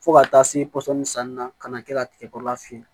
Fo ka taa se pɔsɔni sanni na ka na kɛ ka tigɛ kɔrɔla fe